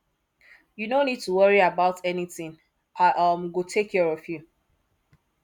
you no need to worry about anything i um go take care of you